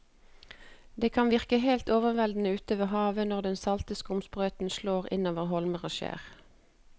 Det kan virke helt overveldende ute ved havet når den salte skumsprøyten slår innover holmer og skjær.